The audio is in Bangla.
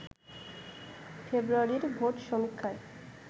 ফেব্রুয়ারির ভোট সমীক্ষায়